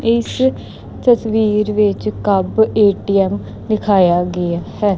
ਇਸ ਤਸਵੀਰ ਵਿੱਚ ਕਬ ਏ_ਟੀ_ਐਮ ਦਿਖਾਇਆ ਗਿਆ ਹੈ।